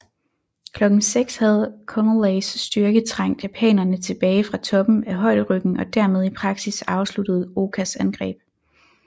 Klokken 6 havde Conoleys styrke trængt japanerne tilbage fra toppen af højderyggen og dermed i praksis afsluttet Okas angreb